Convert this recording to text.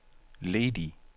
ledig